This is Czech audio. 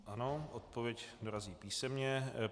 Ano, odpověď dorazí písemně.